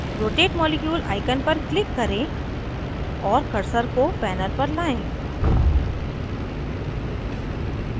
rotate molecule icon पर click करें और cursor को panel पर लाएं